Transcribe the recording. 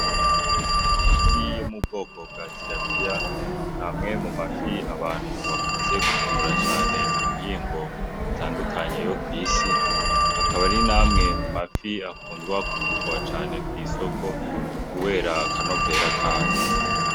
Amafi yo mu bwoko bwa tirapiya namwe mu mafi abantu bakunze gukungura cane mu mihingo itandukanye yo kw'isi akaba ari namwe mu mafi akundwa kugurwa cane kw'isoko, kubera akanovera kayo.